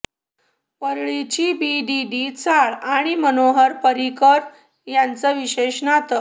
वरळीची BDD chawl आणि मनोहर पर्रिकर यांचं विशेष नातं